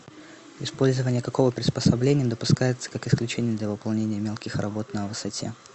использование какого приспособления допускается как исключение для выполнения мелких работ на высоте